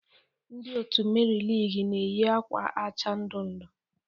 Ndị otu Meri Lig na-eyi akwa acha ndu ndu.